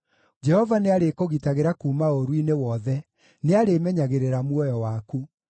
Jehova nĩarĩkũgitagĩra kuuma ũũru-inĩ wothe: nĩarĩĩmenyagĩrĩra muoyo waku;